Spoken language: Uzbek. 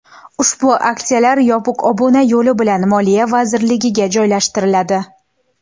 Ushbu aksiyalar yopiq obuna yo‘li bilan Moliya vazirligiga joylashtiriladi.